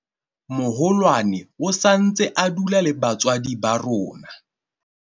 moholwane o sa ntse a dula le batswadi ba rona